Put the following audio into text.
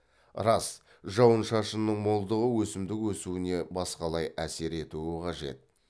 рас жауын шашынның молдығы өсімдік өсуіне басқалай әсер етуі қажет